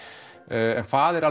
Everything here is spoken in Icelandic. en faðir